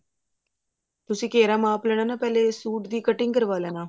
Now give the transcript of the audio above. ਤੁਸੀਂ ਘੇਰਾ ਮਾਪ ਲੈਣਾ ਨਾ ਪਹਿਲੇ ਸੂਟ ਦੀ cutting ਕਰਵਾ ਲੈਣਾ